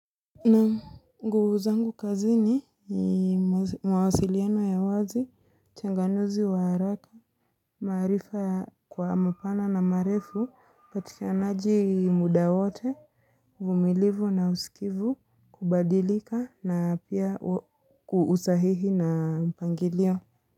Naam nguvu zangu kazini mawasiliano ya wazi, uchanganuzi wa haraka, marifa kwa mapana na marefu, upatikanaji muda wote, uvumilivu na usikivu kubadilika na pia kwa usahihi na mpangilio.